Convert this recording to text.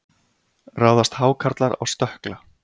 ráðast hákarlar á stökkla